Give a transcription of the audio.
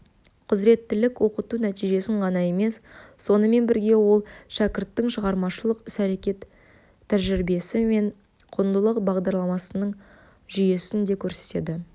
құзыреттілік оқыту нәтижесін ғана емес сонымен бірге ол шәкірттің шығармашылық ісәрекет тәжірибесі мен құндылық бағдарларының жүйесін де көрсетеді